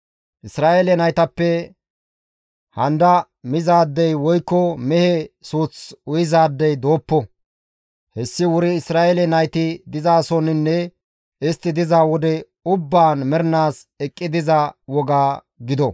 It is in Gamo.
Isra7eele naytappe handa mizaadey woykko mehe suuth uyizaadey dooppo; hessi wuri Isra7eele nayti dizasoninne istti diza wode ubbaan mernaas eqqi diza woga gido.»